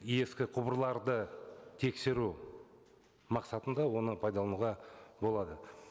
ескі құбырларды тексеру мақсатында оны пайдалануға болады